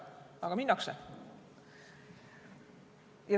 Aga minnakse.